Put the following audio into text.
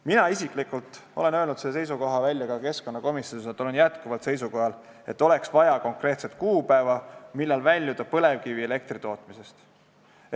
Mina isiklikult olen öelnud ka keskkonnakomisjonis, et olen jätkuvalt seisukohal, et oleks vaja konkreetset kuupäeva, millal väljuda põlevkivielektri tootmisest.